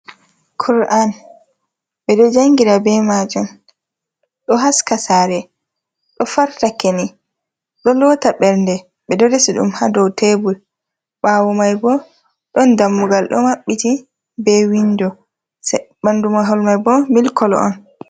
Kur’an ɓe ɗo jangira be majum ɗo haska saare, ɗo farta keni, ɗo lota bernde ɓe ɗo resi ɗum ha dou tebul ɓawo mai bo ɗon dammugal ɗo maɓɓiti be windo e bandu mahol mai bo mil kolo on.